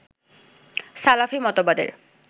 সালাফি মতবাদের